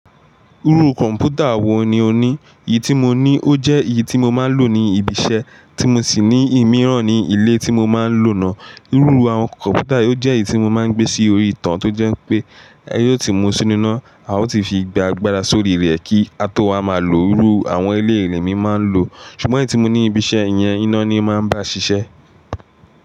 Irú kọ̀mpútà wò ní ò ní? Èyí tí mo ní ó jẹ́ èyí tí mo máa ń lò ní ibi iṣẹ́ tí mo sì ní ìmíràn ní ilé tí mo máa ń lò náà. Irú àwọn kọ̀mpútà yìí ó jẹ́ èyí tí mo máa ń gbé sí orí ìtàn tó jẹ́ pé, ẹ yóò ti mú un sínú iná, a ó sì fi gba agbára sórí rẹ̀ kí a tó ha máa lò ó. Irú àwọn eléyìí ni èmi máa ń lò, ṣùgbọ́n èyí tí mo ní ibi iṣẹ́ yẹn iná ni máa ń bá ṣiṣẹ́.